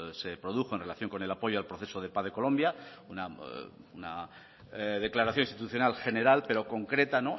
se produjo en relación con el apoyo al proceso de paz de colombia una declaración institucional general pero concreta